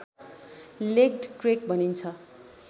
legged crake भनिन्छ